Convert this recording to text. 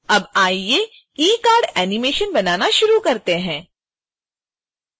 अब आइए ecard animation बनाना शुरू करते हैं